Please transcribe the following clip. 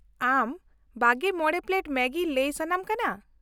ᱟᱢ ᱒᱕ ᱯᱞᱮᱴ ᱢᱮᱜᱤ ᱞᱟᱹᱭ ᱥᱟᱱᱟᱢ ᱠᱟᱱᱟ ?